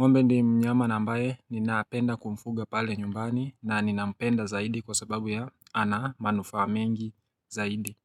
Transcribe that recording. Ng'ombe ndiye mnyama ambaye ninapenda kumfuga pale nyumbani na ninampenda zaidi kwa sababu ya ana manufaa mengi zaidi.